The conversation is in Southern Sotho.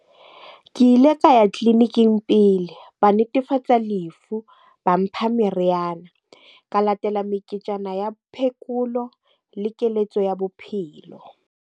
Ke ile ka ya tleliniking pele, ba netefatsa lefu, ba mpha meriana. Ka latela meketjana ya phekolo le keletso ya bophelo.